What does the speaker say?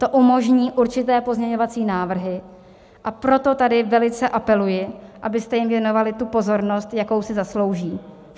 To umožní určité pozměňovací návrhy, a proto tady velice apeluji, abyste jim věnovali tu pozornost, jakou si zaslouží.